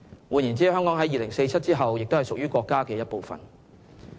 換言之，香港在2047年之後也屬於國家的一部分。